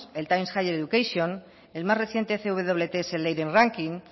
higher education el más reciente cwts leiden ranking